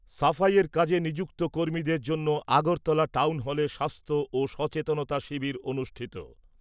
সাফাইয়ের কাজে নিযুক্ত কর্মীদের জন্য আগরতলা টাউন হলে স্বাস্থ্য ও সচেতনতা শিবির অনুষ্ঠিত।